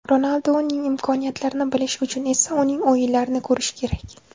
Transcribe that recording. Ronalduning imkoniyatlarini bilishi uchun esa uning o‘yinlarini ko‘rishi kerak.